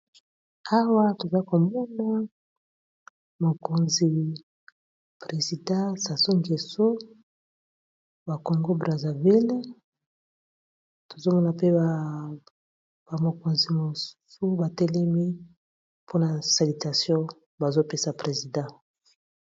Awa toza komona mokonzi presidant Sasu Ngeso ya Congo Brazaville, tozomona pe ba mikonzi misusu batelemi mpona salitation bazopesa presidant.